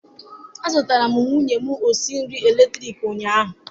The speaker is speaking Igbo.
Azụtara m nwunye m osi nri eletrik ụnyahụ.